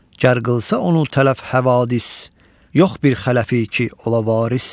Gər qılsa onu tələf həvadis, yox bir xələfi ki ola varis.